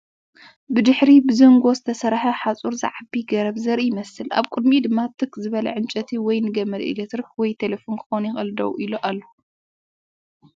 ብድሕሪ ብዝንጎ ዝተሰርሐ ሓጹር ዝዓቢ ገረብ ዘርኢ ይመስል፣ ኣብ ቅድሚኡ ድማ ትኽ ዝበለ ዕንጨይቲ ወይ ንገመድ ኤሌክትሪክ ወይ ቴሌፎን ክኸውን ይኽእል ደው ኢሉ ኣሎ።